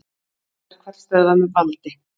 Hungurverkfall stöðvað með valdi